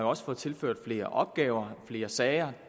også fået tilført flere opgaver flere sager